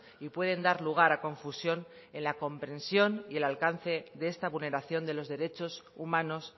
y pueden dar lugar a confusión en la comprensión y el alcance de esta vulneración de los derechos humanos